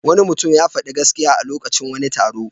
Wani mutum ya faɗi gaskiya a lokacin wani taro.